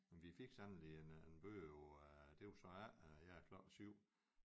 Vi fik sandelig en en bøde på det var så her klokken 7